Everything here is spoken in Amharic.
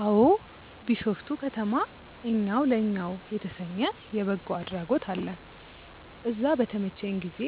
አዎ። ቢሾፍቱ ከተማ እኛው ለእኛው የተሰኘ የበጎ አድራጎት አለ። እዛ በተመቸኝ ጊዜ